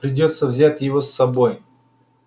придётся взять его с собой